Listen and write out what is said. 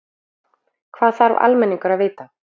Hvað þarf almenningur að vita?